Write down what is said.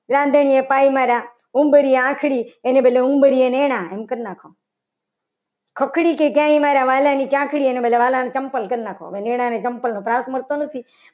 રાંધણીએ પાઇ મારા ઉમળીએ આખરી ઉંબરીએ નેના એમ કરી નાખો. ખકડી ગઈ મારા વાલા ની ચાકડી એનો મતલબ ચંપલ કરી નાખો. ચંપલ ત્રાસ મળતો નથી.